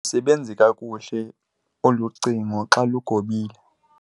Alusebenzi kakuhle olu cingo xa lugobile.